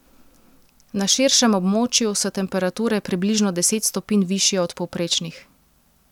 Na širšem območju so temperature približno deset stopinj višje od povprečnih.